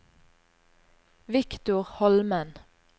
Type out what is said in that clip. Victor Holmen